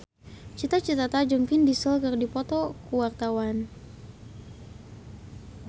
Cita Citata jeung Vin Diesel keur dipoto ku wartawan